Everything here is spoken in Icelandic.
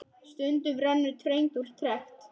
Stundum rennur tregt úr trekt.